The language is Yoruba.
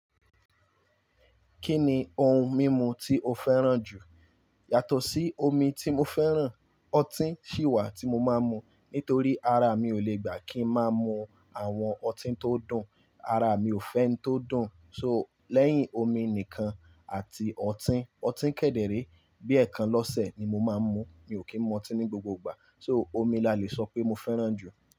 Kí ni ohun mímu tí o fẹ́ràn jù? Yàtọ̀ sí omi tí mo fẹ́ràn, ọtí sì wà tí mo máa ń mu. Nítorí ara mi ò le gbà kí ń má mu àwọn ọtí tó dùn, ara mi ò fẹ́ n tó dùn. So lẹ́yìn omi nìkan àti ọtí, ọtí kẹ̀dẹ̀rẹ́ bí ẹẹkan lọ́sẹ̀ ni mo máa ń mu. Mi ò kí ń mu ọtí ní gbogbo ìgbà. So omi la le sọ pé mo fẹ́ràn jù.